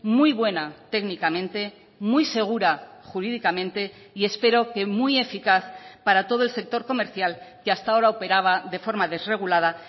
muy buena técnicamente muy segura jurídicamente y espero que muy eficaz para todo el sector comercial que hasta ahora operaba de forma desregulada